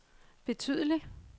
betydelig